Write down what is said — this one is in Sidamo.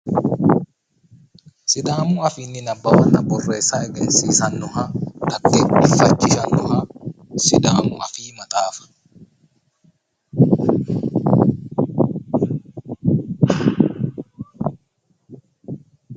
sidaamu afiinni nabawanna borreessa egensiisannoha xaggeefachishannoha siddaamu afii maxaafa.